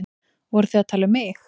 Voruð þið að tala um mig?